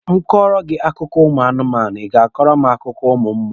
M kọrọ gị akụkọ anụmanụ, Ị ga-akọrọ mụ akụkọ ụmụ mmụọ?